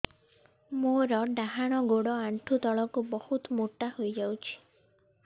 ମୋର ଡାହାଣ ଗୋଡ଼ ଆଣ୍ଠୁ ତଳକୁ ବହୁତ ମୋଟା ହେଇଯାଉଛି